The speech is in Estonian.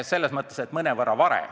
See on siis mõnevõrra varem.